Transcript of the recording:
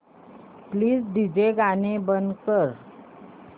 please DJ गाणी बंद कर